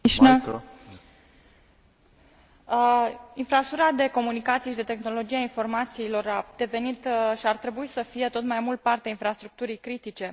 Domnule președinte, infrastructura de comunicații și de tehnologia informațiilor a devenit, și ar trebui să fie tot mai mult, parte a infrastructurii critice.